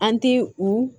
An ti u